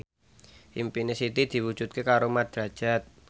impine Siti diwujudke karo Mat Drajat